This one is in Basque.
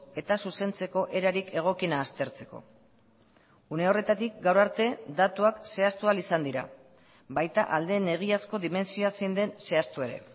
eta zuzentzeko erarik egokiena aztertzeko une horretatik gaur arte datuak zehaztu ahal izan dira baita aldeen egiazko dimentsioa zein den zehaztu ere